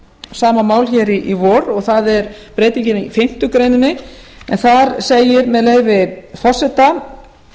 sama mál hér í vor það er breytingin í fimmtu grein en þar segir með leyfi forseta